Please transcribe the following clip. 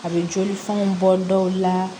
A bɛ joli fɛnw bɔ dɔw la